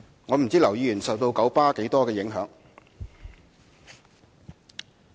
我不知道劉議員受到九巴多少影響。